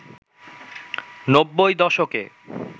নব্বই দশকে